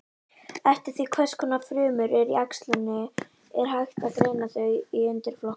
Jónas Margeir Ingólfsson: Hvað haldið þið að þið séuð búin að afgreiða marga hamborgara?